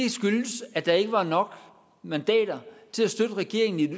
at der ikke var nok mandater til at støtte regeringen i en